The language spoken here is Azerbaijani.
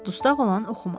Dustağ olan oxumaz.